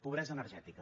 pobresa energètica